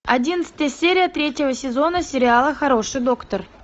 одиннадцатая серия третьего сезона сериала хороший доктор